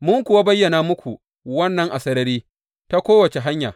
Mun kuwa bayyana muku wannan a sarari, ta kowace hanya.